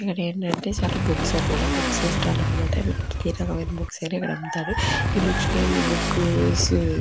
ఇక్కడ ఏంటంటే చాలా బుక్స్ అన్నమాట. బుక్ స్టాల్ అన్నమాట మనకి ఏ రకమైన బుక్స్ అమ్ముతారు. ఈ బుక్ సు--